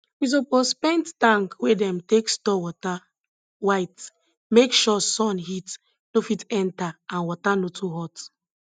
we suppose paint tank wey dem take store water white make sure sun heat no fit enter and water no too hot